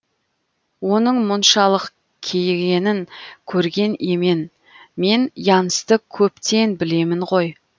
оның мұншалық кейігенін көрген емен мен янсты көптен білемін ғой